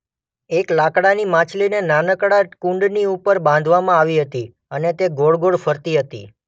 એક લાકડાની માછલીને નાનકડા કુંડની ઉપર બાંધવામાં આવી હતી અને તે ગોળ ગોળ ફરતી હતી.